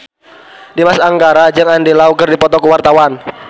Dimas Anggara jeung Andy Lau keur dipoto ku wartawan